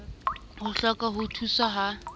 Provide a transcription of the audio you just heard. o hloka ho thuswa ha